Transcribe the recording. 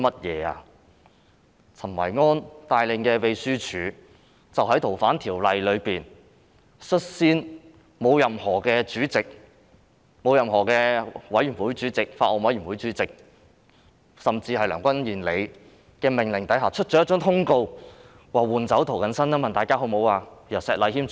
由陳維安帶領的秘書處，在處理《逃犯條例》時，率先在沒有任何主席、委員會主席、法案委員會主席，甚至是梁君彥的命令下發出通告，詢問議員是否要換掉涂謹申議員，改由石禮謙議員出任主持。